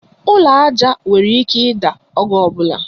Ụlọ aja nwere ike ida oge ọbula